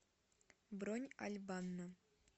бронь аль банна